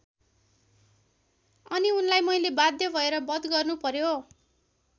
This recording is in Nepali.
अनि उनलाई मैले बाध्य भएर वध गर्नु पर्‍यो।